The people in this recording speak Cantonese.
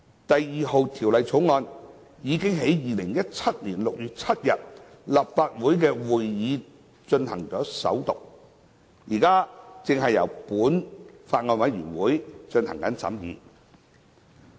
《第2號條例草案》已於2017年6月7日的立法會會議進行首讀，現正由本法案委員會進行審議。